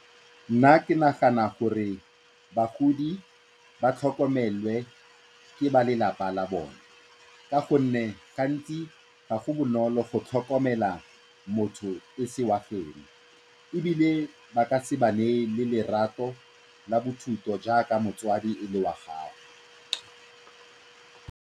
Nna ke nagana gore bagodi ba tlhokomelwe ke balelapa la bone ka gonne ga ntsi ga go bonolo go tlhokomela motho e se wa ebile ba ka se ba neye le lerato la jaaka motsadi e le wa gago.